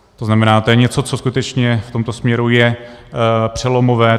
To znamená, to je něco, co skutečně v tomto směru je přelomové.